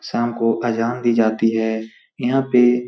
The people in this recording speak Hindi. शाम को अजान दी जाती है यहाँ पे --